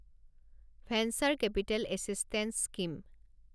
venture capital assistance scheme